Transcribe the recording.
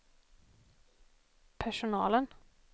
personalen